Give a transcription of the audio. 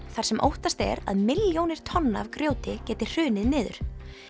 þar sem óttast er að milljónir tonna af grjóti geti hrunið niður